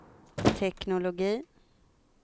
teknologi